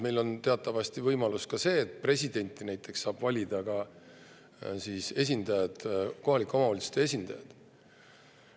Meil on teatavasti see võimalus, et presidenti saavad näiteks valida ka kohalike omavalitsuste esindajad.